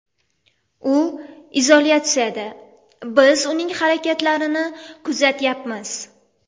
U izolyatsiyada, biz uning harakatlarini kuzatyapmiz.